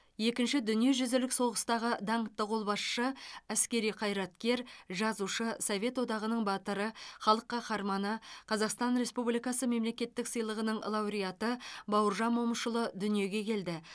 екінші дүниежүзілік соғыстағы даңқты қолбасшы әскери қайраткер жазушы совет одағының батыры халық қаһарманы қазақстан республикасы мемлекеттік сыйлығының лауреаты бауыржан момышұлы дүниеге келді